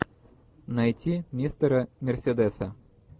найти мистера мерседеса